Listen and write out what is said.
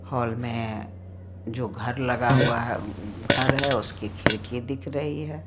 Hall में जो घर लगा हुआ है घर है उसकी खिड़की दिख रही है।